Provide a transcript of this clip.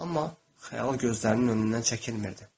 Amma xəyal gözlərinin önündən çəkilmədi.